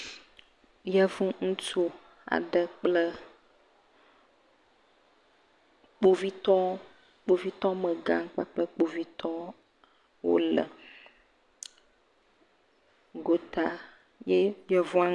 Yevu ŋutsu aɖe kple kpovitɔwo megã kpakple kpovitɔ le. Gota ye yevua......